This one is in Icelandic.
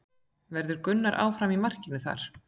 Verður Gunnar áfram í markinu þar?